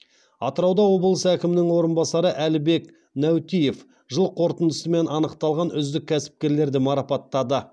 атырауда облыс әкімінің орынбасары әлібек нәутиев жыл қорытындысымен анықталған үздік кәсіпкерлерді марапаттады